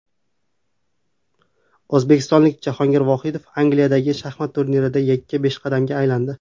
O‘zbekistonlik Jahongir Vohidov Angliyadagi shaxmat turnirida yakka peshqadamga aylandi.